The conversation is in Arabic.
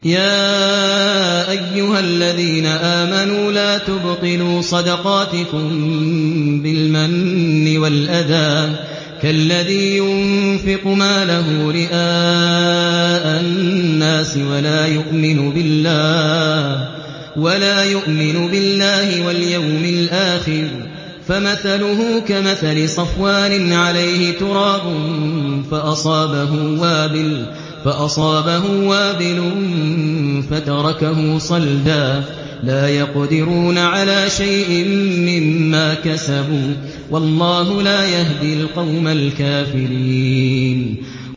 يَا أَيُّهَا الَّذِينَ آمَنُوا لَا تُبْطِلُوا صَدَقَاتِكُم بِالْمَنِّ وَالْأَذَىٰ كَالَّذِي يُنفِقُ مَالَهُ رِئَاءَ النَّاسِ وَلَا يُؤْمِنُ بِاللَّهِ وَالْيَوْمِ الْآخِرِ ۖ فَمَثَلُهُ كَمَثَلِ صَفْوَانٍ عَلَيْهِ تُرَابٌ فَأَصَابَهُ وَابِلٌ فَتَرَكَهُ صَلْدًا ۖ لَّا يَقْدِرُونَ عَلَىٰ شَيْءٍ مِّمَّا كَسَبُوا ۗ وَاللَّهُ لَا يَهْدِي الْقَوْمَ الْكَافِرِينَ